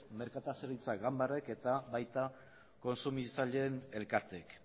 merkataritza ganbarak eta baita kontsumitzaileen elkarteek